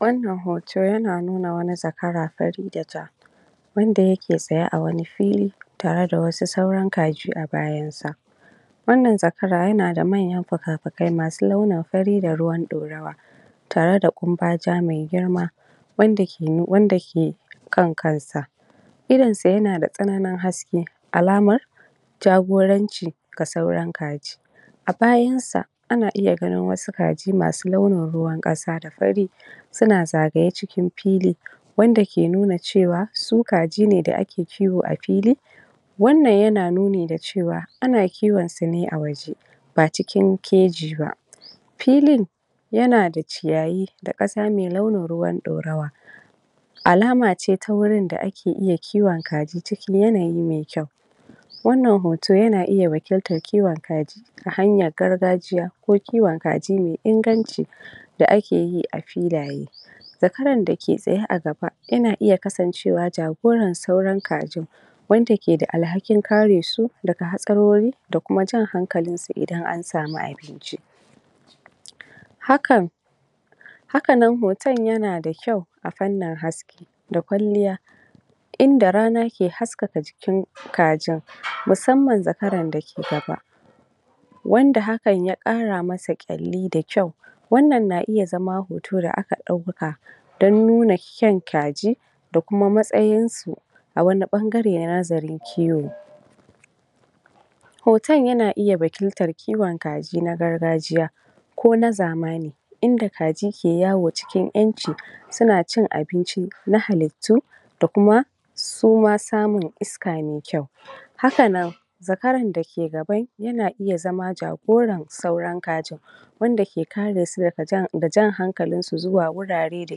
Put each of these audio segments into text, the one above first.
wannan hoto yana nuna wani zakara fari da ja wanda yake tsaye a wani fili tare da wasu sauran kaji a bayansa wannan zakara yana da manyan fikafikai masu launin fari da ruwan ɗorawa tare da ƙumbaja mai girma wanda ke nu wanda ke kan kansa irin sa yana da tsananin haske alamar jagoranci ga sauran kaji a bayansa ana iya ganin wasu kaji masu launin ruwan ƙasa da fari suna zagaye cikin pili wanda ke nuna cewa su kaji ne da ake kiwo a pili wannan yana nuni da cewa ana kiwonsu ne a waje ba cikin keji ba pilin yana da ciyayi da ƙasa mai launin ruwan ɗorawa alama ce ta wurin da ake iya kiwon kaji cikin yanayi mai kyau wannan hoto yana iya wakiltar ciwon kaji ta hanyar gargajiya ko kiwon kaji mai inganci da akeyi a pilaye zakaran dake tsaye a gaba yana iya kasancewa jagoran sauran kajin wanda ke da alhakin kare su daga hatsarori da kuma jan hankalin su idan an samu abinci hakan hakanan hoton yana da kyau a fannin haske da kwalliya inda rana ke haskaka jikin kajin musamman zakaran dake gaba wanda hakan ya ƙara masa ƙyalli da kyau wannan na iya zama hoto da aka ɗauka don nuna kyan kaji da kuma matsayinsu a wani ɓangare na nazarin kiwo hoton yana iya wakiltar kiwon kaji na gargajiya ko na zamani inda kaji ke yawo cikin ƴanci suna cin abinci na halittu da kuma su ma samun iska mai kyau hakanan zakaran dake gaban yana iya zama jagoran sauran kajin wanda ke kare su daga jan da jan hankalinsu zuwa wurare da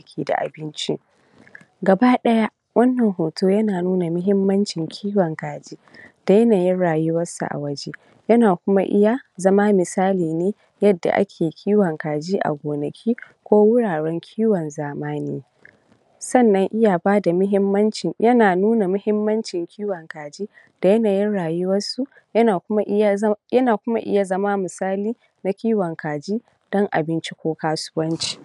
ke da abinci gaba ɗaya wannan hoto yana nuna mahimmancin kiwon kaji da yanayin rayuwarsu a waje yana kuma iya zama misali ne yadda ake kiwon kaji a gonaki ko wuraren kiwon zamani sannan iya bada mahimmancin yana nuna mahimmancin kiwon kaji da yanayin rayuwarsu yana kuma iya za yana kuma iya zama misali na kiwon kaji don abinci ko kasuwanci?